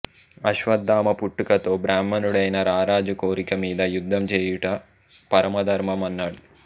అశ్వత్థామ పుట్టుకతో బ్రాహ్మణుడైనా రారాజు కోరిక మీద యుద్ధం చేయుట పరమధర్మం అన్నాడు